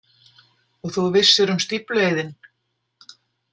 Og þú vissir um stíflueyðinn?